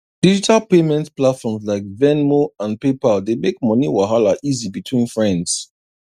digital payment platforms like venmo and paypal dey make money wahala easy between friends